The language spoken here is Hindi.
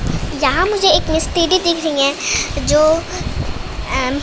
यहां मुझे एक मिस्त्री दिख रही है जो अं--